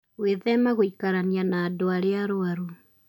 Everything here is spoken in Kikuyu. Gwĩthema gũikarania na andũ arĩa arũaru.